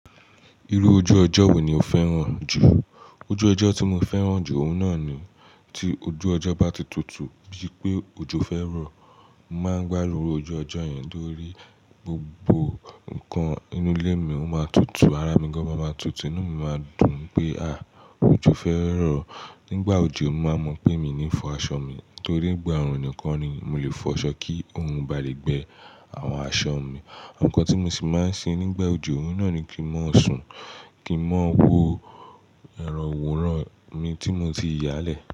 Irú ojú ọjọ́ wo ni o fẹ́ràn jù? Ojú ọjọ́ tí mo fẹ́ràn jù, òun náà ni tí ojú ọjọ́ bá ti tutù, bíi pé òjò fẹ́ rọ̀, mo máa ń gbádùn irú ojú ọjọ́ yẹn lórí, gbogbo nǹkan inú ilé mi ó máa tutù, ara mi gan-an máa tutù, inú mi máa dùn pé, àìò, òjò fẹ́ rọ̀. Nígbà òjò, mo máa mọ̀ pé mi ní fọ aṣọ mi, torí ìgbà òòrùn nìkan ni mo lè fọ aṣọ kí òrun ba lè gbẹ àwọn aṣọ mi. Ǹkan tí mo sì máa ń ṣe nígbà òjò, òun náà ni kí n máa sùn, kí n máa wo ẹrọ̀wòrán mi tí mo ti yálẹ̀.